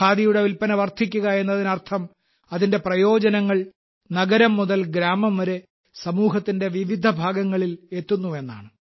ഖാദിയുടെ വിൽപന വർധിക്കുക എന്നതിനർത്ഥം അതിന്റെ പ്രയോജനങ്ങൾ നഗരം മുതൽ ഗ്രാമം വരെ സമൂഹത്തിന്റെ വിവിധ വിഭാഗങ്ങളിൽ എത്തുന്നു എന്നാണ്